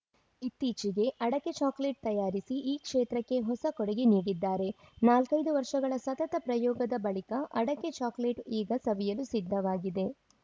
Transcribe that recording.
ಇತ್ತೀಚೆಗೆ ಅಡಕೆ ಚಾಕೊಲೇಟ್‌ ತಯಾರಿಸಿ ಈ ಕ್ಷೇತ್ರಕ್ಕೆ ಹೊಸ ಕೊಡುಗೆ ನೀಡಿದ್ದಾರೆ ನಾಲ್ಕೈದು ವರ್ಷಗಳ ಸತತ ಪ್ರಯೋಗದ ಬಳಿಕ ಅಡಕೆ ಚಾಕೊಲೇಟ್‌ ಈಗ ಸವಿಯಲು ಸಿದ್ಧವಾಗಿದೆ